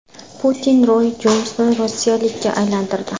Putin Roy Jonsni rossiyalikka aylantirdi.